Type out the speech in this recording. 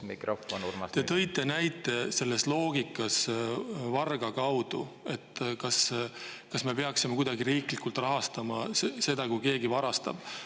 Te tõite selle loogika näiteks vargaga: kas me peaksime kuidagi riiklikult rahastama seda, kui keegi varastab.